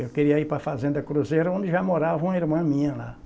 Eu queria ir para a fazenda Cruzeiro, onde já morava uma irmã minha lá.